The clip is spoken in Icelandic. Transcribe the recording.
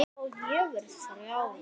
Og ég verði frjáls.